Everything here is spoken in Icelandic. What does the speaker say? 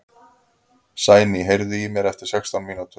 Sæný, heyrðu í mér eftir sextán mínútur.